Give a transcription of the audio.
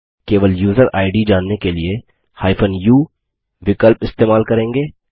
केवल user ID जानने के लिए u विकल्प इस्तेमाल करेंगे